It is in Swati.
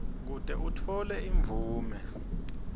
kute utfole imvume